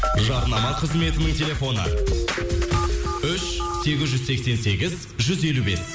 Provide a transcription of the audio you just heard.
жарнама қызметінің телефоны үш сегіз жүз сексен сегіз жүз елу бес